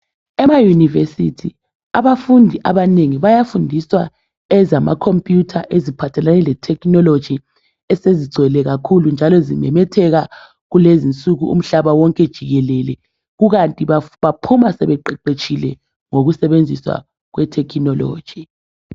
Emayunivesithi abafundi abanengi bayafundiswa ezamakhomputha eziphathelane letechnology esezigcwele kakhulu njalo esizimemetheka kulezinsuku umhlaba wonke jikelele kukanti baphuma sebeqeqetshile ngokusebenzisa kwethekhinoloji.